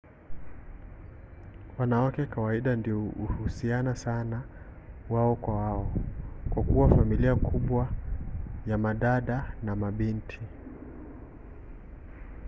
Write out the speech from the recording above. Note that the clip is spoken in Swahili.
wanawake kawaida ndio uhusiana sana wao kwa wao kwa kuwa familia kubwa ya madada na mabinti